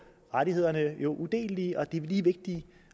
at rettighederne er udelelige og lige vigtige